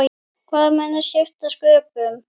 Hvað mun skipta sköpum?